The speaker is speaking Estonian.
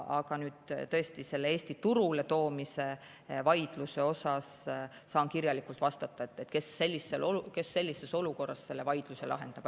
Aga selle Eesti turule toomise vaidluse kohta saan kirjalikult vastata, kes sellises olukorras selle vaidluse lahendab.